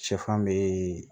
Sɛfan bɛ